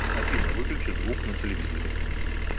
афина выключи звук на телевизоре